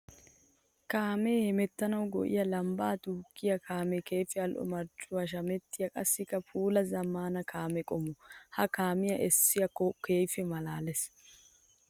Kaame hemettanawu go'iya lambba duuqqiya kaame keehippe ali'o marccuwan shamettiya qassikka puula zamaana kaame qommo. Ha kaamiya eesoykka keehippe malaales.